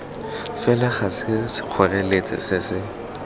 fela ga sekgoreletsi se se